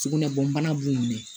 Sugunɛ bɔ bana b'u minɛ